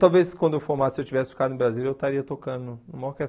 Talvez quando eu formasse, se eu tivesse ficado no Brasil, eu estaria tocando em uma orquestra.